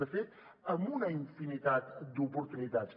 de fet amb una infinitat d’oportunitats